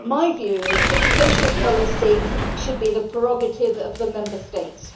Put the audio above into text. My view is that social policy should be the prerogative of the Member States.